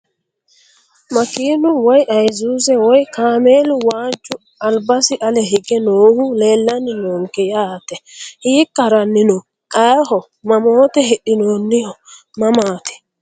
Makeenu woyi ayisuuze woyi kaameėlu waaju albasi ale hige noohu leelani noonke yaate hiika harani no ayiho mamoote hidhinooniho mamaati.